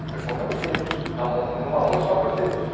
Você conta nos dedos, na mão numa mão e sobra os dedos.